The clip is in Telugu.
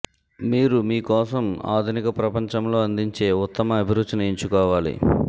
మీరు మీ కోసం ఆధునిక ప్రపంచంలో అందించే ఉత్తమ అభిరుచిని ఎంచుకోవాలి